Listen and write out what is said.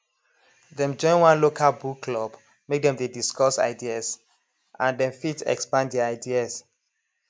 dem join one local book club make dem dey discuss ideas and dem fit expand their ideas